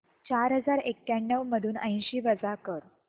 चार हजार एक्याण्णव मधून ऐंशी वजा कर